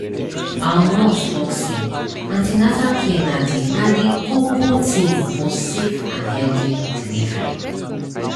our nurse talk say an ten atal care na dey na dey koko tin for safe and healthy delivery